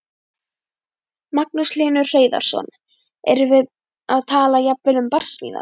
Magnús Hlynur Hreiðarsson: Erum við að tala jafnvel um barsmíðar?